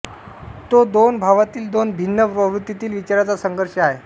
तो दोन भावातील दोन भिन्न प्रवृत्तीतील विचारांचा संघर्ष आहे